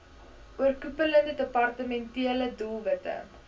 oorkoepelende departementele doelwitte